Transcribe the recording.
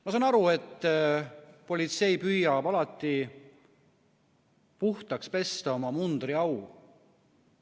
Ma saan aru, et politsei püüab alati puhtaks pesta oma mundriau.